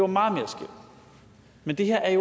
meget mere skævt men det her er